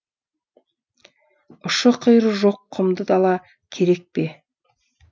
ұшы қиыры жоқ құмды дала керек пе